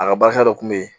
A ka barika dɔ kun bɛ ye